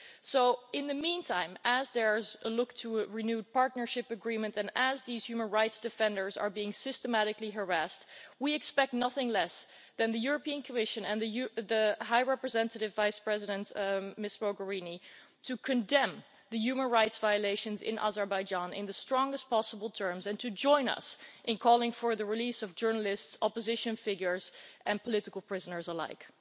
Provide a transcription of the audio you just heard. So in the meantime we should a look to a renewed partnership agreement and as these human rights defenders are being systematically harassed, we expect nothing less than the European Commission and the High Representative Vice President, Ms Mogherini to condemn the human rights violations in Azerbaijan in the strongest possible terms, and to join us in calling for the release of journalists, opposition figures and political prisoners alike.